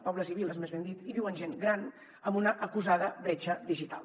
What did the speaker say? pobles i viles més ben dit hi viuen gent gran amb una acusada bretxa digital